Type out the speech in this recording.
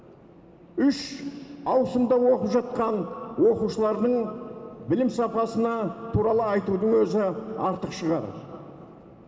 үш ауысымда оқып жатқан оқушылардың білім сапасына туралы айтудың өзі артық шығар